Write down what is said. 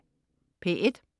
P1: